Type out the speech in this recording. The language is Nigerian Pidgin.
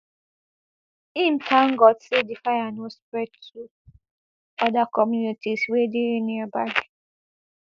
im tank god say di fire no spread to oda communities wey dey nearby